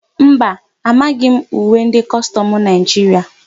Mba, amaghị m uwe ndị kọstọmụ Naịjiria.